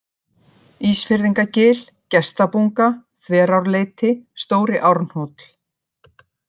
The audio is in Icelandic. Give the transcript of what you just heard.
Ísfirðingagil, Gestabunga, Þverárleiti, Stóri-Árnhóll